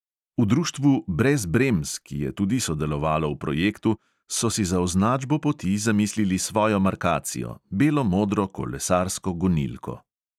V društvu brez bremz, ki je tudi sodelovalo v projektu, so si za označbo poti zamislili svojo markacijo, belo-modro kolesarsko gonilko.